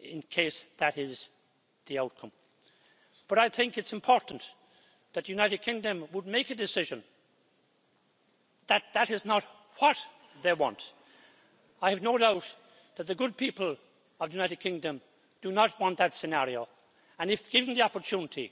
in case that is the outcome. But I think it's important for the United Kingdom to make a decision that that is not what it wants. I have no doubt that the good people of the United Kingdom do not want that scenario, and if given the opportunity